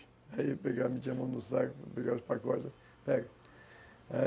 Aí ele pegava, metia a mão no saco, pegava os pacotes, pega.